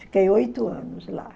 Fiquei oito anos lá.